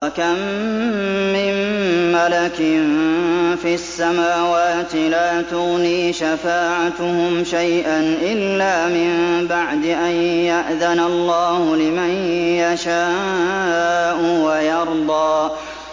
۞ وَكَم مِّن مَّلَكٍ فِي السَّمَاوَاتِ لَا تُغْنِي شَفَاعَتُهُمْ شَيْئًا إِلَّا مِن بَعْدِ أَن يَأْذَنَ اللَّهُ لِمَن يَشَاءُ وَيَرْضَىٰ